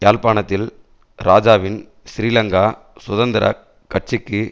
யாழ்ப்பாணத்தில் இராஜாவின் ஸ்ரீலங்கா சுதந்திர கட்சிக்கு